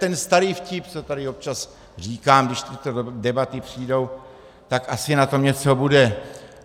Ten starý vtip, co tady občas říkám, když tyto debaty přijdou, tak asi na tom něco bude.